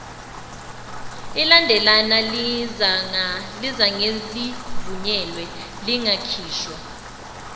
ilandelana lingazangelivunyelwe lingakhishwa